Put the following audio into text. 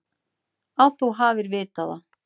Að þú hafir vitað það.